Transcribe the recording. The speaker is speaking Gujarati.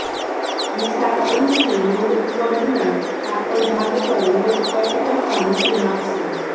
વિશાળ અંતથી લોગ થડના કાપડ ભાગ પર લોગ કટ કરતાં મોટી માપશે